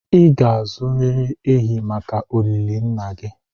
ị ga-azụtarịrị ehi maka olili nna gị